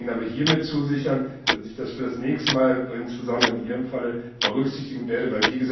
Ich kann Ihnen aber hiermit zusichern, dass ich das für das nächste Mal insbesondere in Ihrem Fall berücksichtigen werde.